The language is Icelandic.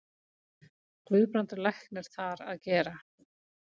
Guðbrandur læknir þar að gera.